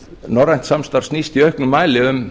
norrænt samstarf snýst í auknum mæli um